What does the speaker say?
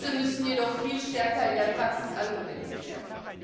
Diese müssen jedoch viel stärker in der Praxis angewendet werden.